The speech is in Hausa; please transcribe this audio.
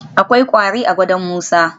Akwai kwari a gadon Musa